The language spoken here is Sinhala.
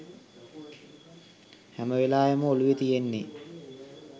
හැම වෙලාවේම ඔළුවේ තියෙන්නේ